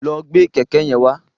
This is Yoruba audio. Lọ gbé kẹ̀kẹ́ yẹn wá.